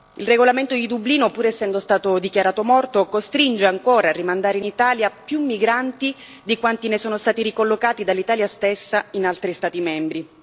Il regolamento di Dublino, pur essendo stato dichiarato morto, costringe ancora a rimandare in Italia più migranti di quanti ne sono stati ricollocati dall'Italia stessa in altri Stati membri.